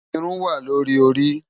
Irún wá lóri óri